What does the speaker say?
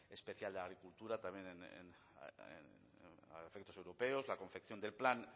especial de agricultura también a efectos europeos la confección del plan